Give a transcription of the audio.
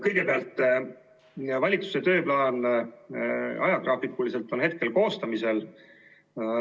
Kõigepealt, valitsuse tööplaani ajagraafik on hetkel koostamisel.